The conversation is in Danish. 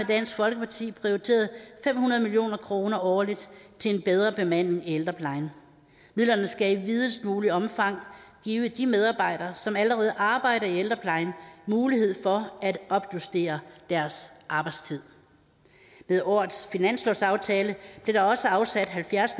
dansk folkeparti prioriteret fem hundrede million kroner årligt til en bedre bemanding i ældreplejen midlerne skal i videst muligt omfang give de medarbejdere som allerede arbejder i ældreplejen mulighed for at opjustere deres arbejdstid med årets finanslovsaftale blev der også afsat halvfjerds